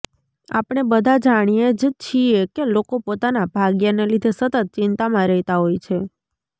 આપણે બધા જાણીએ જ છીએ કે લોકો પોતાના ભાગ્યને લીધે સતત ચિંતામાં રહેતા હોય છે